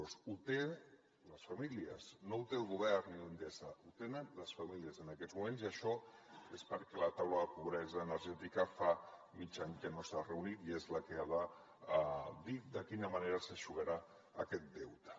el tenen les famílies no el té el govern ni endesa el tenen les famílies en aquests moments i això és perquè la taula de pobresa energètica fa mig any que no s’ha reunit i és la que ha de dir de quina manera s’eixugarà aquest deute